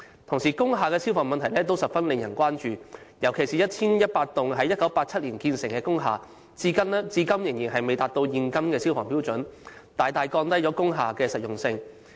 同時，工廈的消防安全問題也十分值得關注，尤其是 1,100 幢於1987年前落成的工廈，至今仍然未達至現今的消防標準，大大降低了工廈的實用性。